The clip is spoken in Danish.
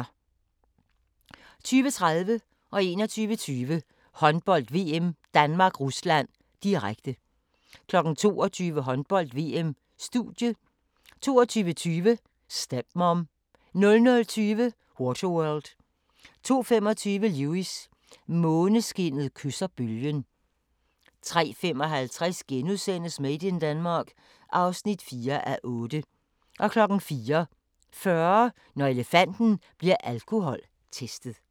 20:30: Håndbold: VM - Danmark-Rusland, direkte 21:20: Håndbold: VM - Danmark-Rusland, direkte 22:00: Håndbold: VM - Studie 22:20: Stepmom 00:20: Waterworld 02:25: Lewis: Måneskinnet kysser bølgen 03:55: Made in Denmark (4:8)* 04:40: Når elefanten bliver alkoholtestet